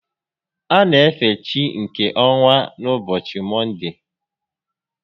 A na efe chi nke ọnwa n'ụbọchị Mọnde